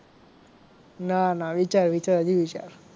ના ના વિચાર વિચાર હજી વિચાર.